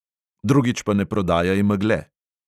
Drugič pa ne prodajaj megle!